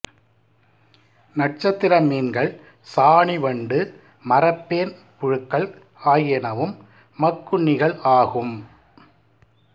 நட்சத்திர மீன்கள் சாணிவண்டு மரப்பேன் புழுக்கள் ஆகியனவும் மக்குண்ணிகள் ஆகும்